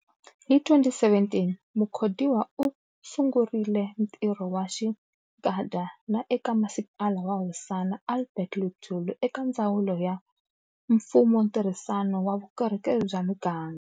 Hi 2017 Mukhodiwa u sungurile ntirho wa xinkadya na eka Masipala wa Hosana Albert Luthuli eka Ndzawulo ya Mfumontirhisano na Vukorhokeri bya Miganga.